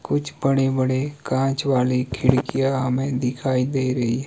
कुछ बड़े बड़े कांच वाले खिडकियां हमें दिखाई दे रही है।